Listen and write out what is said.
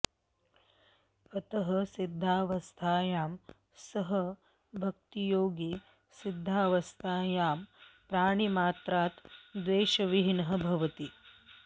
अतः सिद्धावस्थायां सः भक्तियोगी सिद्धावस्थायां प्राणिमात्रात् द्वेषविहीनः भवति